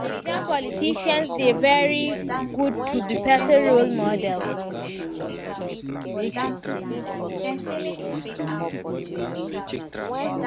Some naija politicians dey very good to be pesin role model.